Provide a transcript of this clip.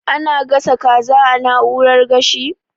Ana gasa kaza a na'urar gashi?